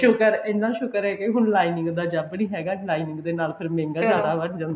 ਸ਼ੁਕਰ ਇੰਨਾ ਸ਼ੁਕਰ ਹੈ ਕੀ ਹੁਣ lining ਦਾ ਜਬ ਨੀ ਹੈਗਾ lining ਦੇ ਨਾਲ ਫ਼ੇਰ ਮਹਿੰਗਾ ਜਿਆਦਾ ਵੱਧ ਜਾਂਦਾ